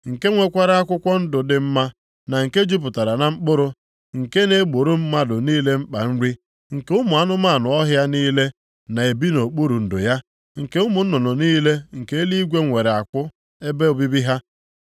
nke nwekwara akwụkwọ ndụ dị mma, na nke jupụtara na mkpụrụ, nke na-egboro mmadụ niile mkpa nri, nke ụmụ anụmanụ ọhịa niile na-ebi nʼokpuru ndo ya, nke ụmụ nnụnụ niile nke eluigwe nwere akwụ ebe obibi ha,